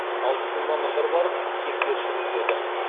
ал біздің мамандар барып тексеріс жүргізеді